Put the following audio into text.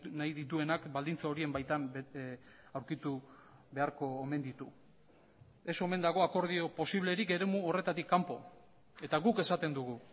nahi dituenak baldintza horien baitan aurkitu beharko omen ditu ez omen dago akordio posiblerik eremu horretatik kanpo eta guk esaten dugu